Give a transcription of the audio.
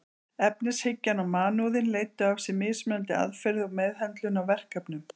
Efnishyggjan og mannúðin leiddu af sér mismunandi aðferðir og meðhöndlun á verkefnum.